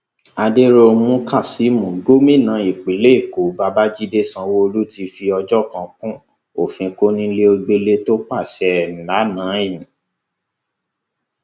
adẹróhunmú kasiimu gomina ìpínlẹ èkó babájídé sanwóolu ti fi òjò kan kún òfin kọnilogbẹlẹ tó pàṣẹ ẹ lànà yii